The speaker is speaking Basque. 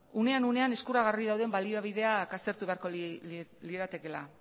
unean unean eskuragarri dauden baliabideak aztertu beharko liratekeela